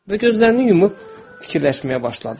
Və gözlərini yumub fikirləşməyə başladı.